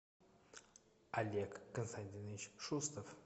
олег константинович шустов